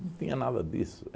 Não tinha nada disso.